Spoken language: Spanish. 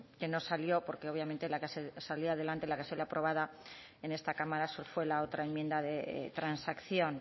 que no salió porque obviamente la que salió aprobada en esta cámara fue la otra enmienda transacción